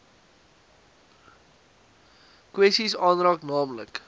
kwessies aanraak naamlik